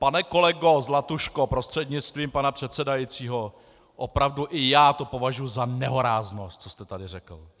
Pane kolego Zlatuško prostřednictvím pana předsedajícího, opravdu i já to považuji za nehoráznost, co jste tady řekl.